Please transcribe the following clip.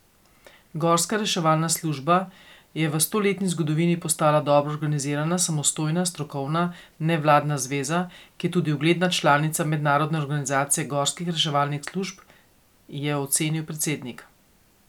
Gorska reševalna služba je v stoletni zgodovini postala dobro organizirana, samostojna, strokovna, nevladna zveza, ki je tudi ugledna članica mednarodne organizacije gorskih reševalnih služb, je ocenil predsednik.